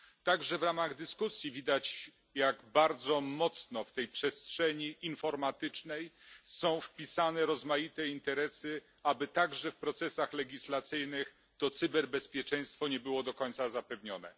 Także w ramach dyskusji widać, jak bardzo mocno w tej przestrzeni informatycznej są wpisane rozmaite interesy, aby także w procesach legislacyjnych cyberbezpieczeństwo nie było do końca zapewnione.